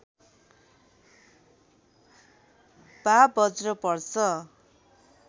वा बज्र पर्छ